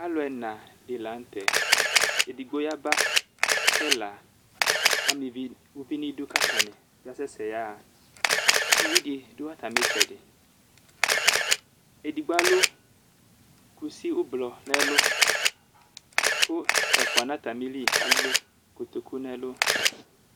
Alu ɛna di lanu tɛedigbo yaba ku ɛla ama uvi nu idu ku atani kasɛsɛ yaɣaUvidi du atami itsɛdiƐdigbo alu kusi ublɔ nu ɛlu ku ɛfua nu atamili alu kotoku nʋ ɛlu